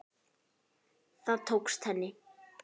Það tókst henni.